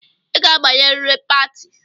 I ga-abanye riri pati!